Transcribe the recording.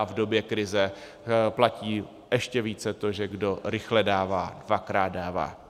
A v době krize platí ještě více to, že kdo rychle dává, dvakrát dává.